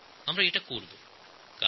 আমরা এটা সম্পূর্ণ করব